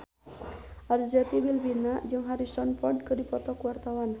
Arzetti Bilbina jeung Harrison Ford keur dipoto ku wartawan